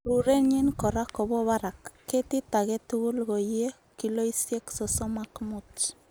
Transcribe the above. Rurenyin kora kobo barak. Ketit agetugul koiye kiloisiek sosom ok mut.